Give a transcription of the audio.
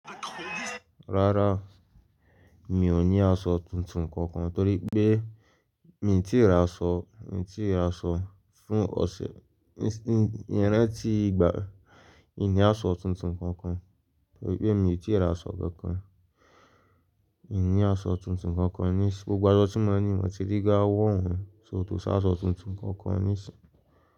Rárá, mi ò ní aṣọ tuntun kankan torí pé mi ò tí ì ra aṣọ, mi ò tí ì ra aṣọ fún ọ̀sẹ̀, mi ò ranti igba mi o ní aṣọ tuntun kankan torí pé mi ò tí ì ra aṣọ kankan. Mi ò ní aṣọ tuntun kankan ní ìsìn, gbogbo aṣọ tí mo ní, mo ti rí ga wọ́ won só kò si aṣọ tuntun kankan ní ìsìn.